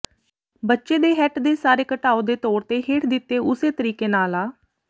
ਬੱਚੇ ਦੇ ਹੈੱਟ ਦੇ ਸਾਰੇ ਘਟਾਉ ਦੇ ਤੌਰ ਤੇ ਹੇਠ ਦਿੱਤੇ ਉਸੇ ਤਰੀਕੇ ਨਾਲ ਆ